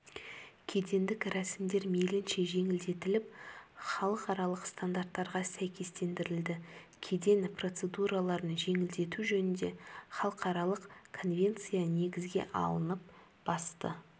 кедендік рәсімдер мейлінше жеңілдетіліп халықаралық стандарттарға сәйкестендірілді кеден процедураларын жеңілдету жөніндегі халықаралық конвенция негізге алынып басты